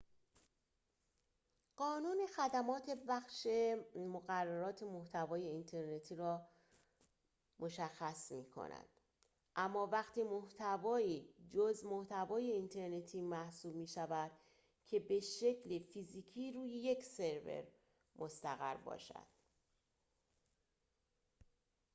قانون خدمات پخش مقررات محتوای اینترنتی را مشخص می‌کند اما وقتی محتوایی جزء محتوای اینترنتی محسوب می‌شود که به‌شکل فیزیکی روی یک سرور مستقر باشد